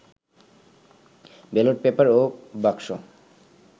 ballot paper ও বাক্স